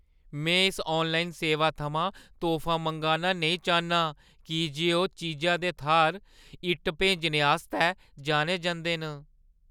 में इस आनलाइन सेवा थमां तोह्फा मंगाना नेईं चाह्न्नां की जे ओह् चीजा दे थाह्‌र इट्ट भेजने आस्तै जाने जंदे न।